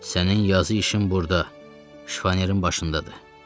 Sənin yazı işin burda şifon yerin başındadır.